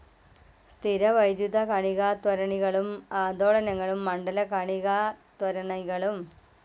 സ്ഥിരവൈദ്യുത കണികാത്വരണികളും ആന്ദോളനമണ്ഡല കണികാത്വരണികളും.